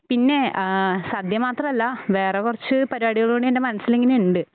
പിന്നെ ഏഹ് സദ്യ മാത്രമല്ല വേറെ കുറച്ച് പരിപാടികള് കൂടി എൻ്റെ മനസ്സിലിങ്ങനെയിണ്ട്